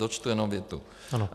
Dočtu jenom větu.